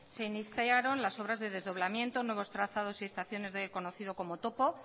se iniciaron las obras de desdoblamiento nuevos trazados y estaciones del conocido como topo